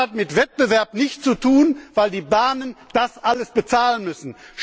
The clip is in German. Das hat mit Wettbewerb nichts zu tun, weil die Bahnen das alles bezahlen müssen.